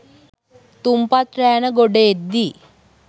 තුන්පත් රෑන ගොඩ එද්දී